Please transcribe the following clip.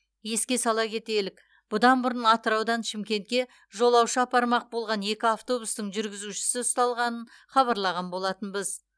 еске сала кетелік бұдан бұрын атыраудан шымкентке жолаушы апармақ болған екі автобустың жүргізушісі ұсталғанын хабарлаған болатынбыз